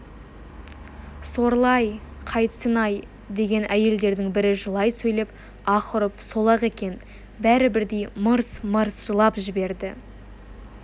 сорлы-ай қайтсін-ай деген әйелдердің бірі жылай сөйлеп аһ ұрып сол-ақ екен бәрі бірдей мырс-мырс жылап берді